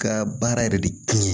Ka baara yɛrɛ de kɛ